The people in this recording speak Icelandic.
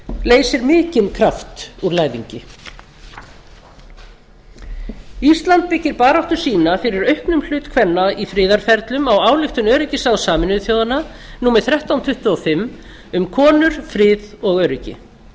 leysir mikinn kraft úr læðingi ísland byggir baráttu sína fyrir auknum hlut kvenna í friðarferlum á ályktun öryggisráðs sameinuðu þjóðanna númer þrettán hundruð tuttugu og fimm um konur frið og öryggi